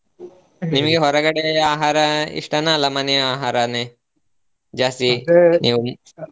ನಿಮಗೆ ಹೊರಗಡೆ ನಿಮಗೆ ಹೊರಗಡೆ ಆಹಾರ ಇಷ್ಟನಾ ಅಲ್ಲಾ ಮನೆ ಆಹಾರಾನೇ? ಜಾಸ್ತಿ ನೀವು .